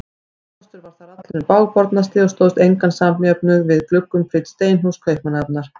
Húsakostur þar var allur hinn bágbornasti og stóðst engan samjöfnuð við gluggum prýdd steinhús Kaupmannahafnar.